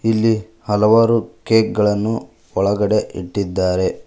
ಇಲ್ಲಿ ಹಲವಾರು ಕೇಕ್ ಗಳನ್ನು ಒಳಗಡೆ ಇಟ್ಟಿದ್ದಾರೆ.